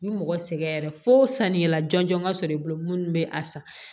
Ni mɔgɔ sɛgɛnra fo sannikɛla jɔnjɔn ka sɔrɔ i bolo minnu bɛ a san